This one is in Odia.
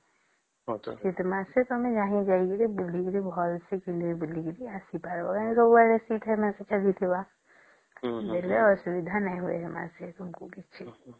ଶୀତ ମାସେ ତମେ ଯାଇକି ଭଲ୍ସେ ବୁଲିକି ଆସି ପରିବା ଯେମିତି ସବୁ ଆଡେ ଶୀତ ମାସ ଚାଲିଥିବା ବେଳେ ଅସୁବିଧା ନାଇଁ ହୁଏ ସେ ମାସେ କିଛି